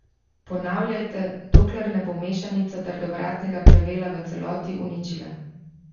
Ponavljajte, dokler ne bo mešanica trdovratnega plevela v celoti uničila.